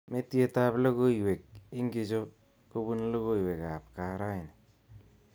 Metietab logoiwek ingitcho kobun logoiwek ab kaa raini